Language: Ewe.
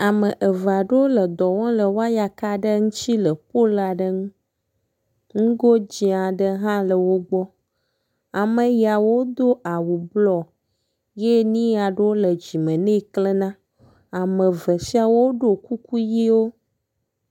Ame eveaɖewó le dɔwɔm le wɔyaka'ɖe ŋtsi le polaɖeŋu, ŋugo dzĩaɖe hã le wógbɔ, ameyawodo awu blɔ yɛ niaɖewo le dzime nɛ klena, amevesiawo ɖo kuku yi wó